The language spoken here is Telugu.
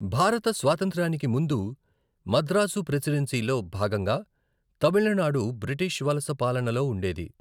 భారత స్వాతంత్ర్యానికి ముందు, మద్రాసు ప్రెసిడెన్సీలో భాగంగా తమిళనాడు బ్రిటిష్ వలస పాలనలో ఉండేది.